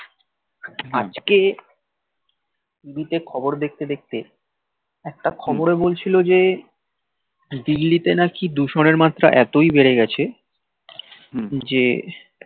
আজকে টিভি তে খবর দেখতে দেখতে একটা খবর এ বলছিল যে দিল্লি তে নাকি দূষণের মাত্রা এতই বেড়ে গেছে যে